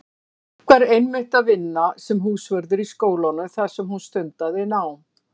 Mark var einmitt að vinna sem húsvörður í skólanum þar sem hún stundaði nám.